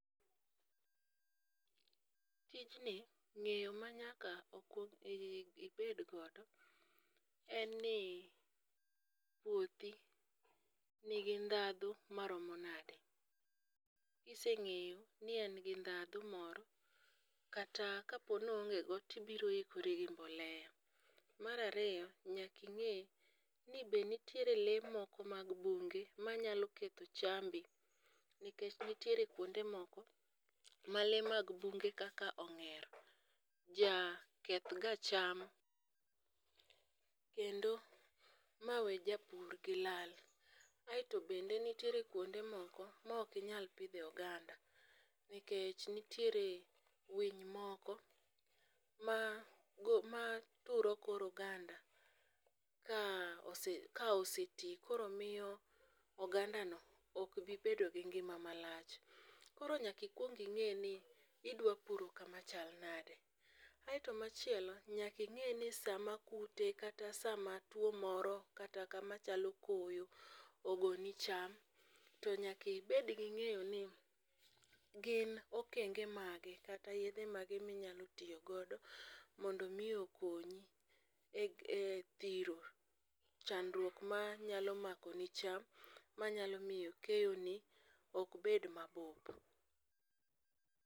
tijni, ng'eyo ma nyaka ibed godo en ni puothi nigi ndhadhu maromo nade, kiseng'eyo ni en gi ndhadhu moro, kata kapo ni oonge go to ibiro ikori gi mbolea. Mar ariyo, nyaka ing'e ni to nitiere lee moko mag bunge manyalo ketho chambi, nikech nitiere kwonde moko ma lee mag bunge kaka ong'er jakethga cham, kendo mawe japur gi lal. Aeto bende nitiere kwonde moko ma ok inyal pidhe oganda, nikech nitiere winy moko ma turo kor oganda, ka oseti koro miyo ogandano ok dhi bedo gi ngima malach. Koro nyaka ikwong ing'e ni idwa puro kama chal nade, aeto machielo, nyaka ing'eni sama kute kata sama tuwo moro kata kamachalo koyo ogoni chma, to nyaka ibed gi ng'eyo ni gin okenge mage kata yedhe mage minyalo tiyo godo mondo omi okonyi e dhiro chandruok manyalo makoni cham manyalo miyo keyoni ok bed ma obup.